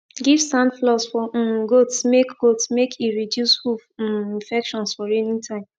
give sand floors for um goats make goats make e reduce hoof um infections for rainy time